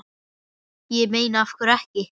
Ég meina af hverju ekki?